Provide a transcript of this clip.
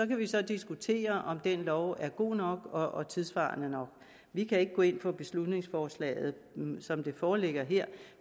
kan så diskutere om den lov er god nok og tidssvarende nok vi kan ikke gå ind for beslutningsforslaget som det foreligger her